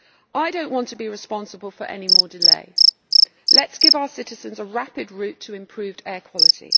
I do not want to be responsible for any more delay let us give our citizens a rapid route to improved air quality.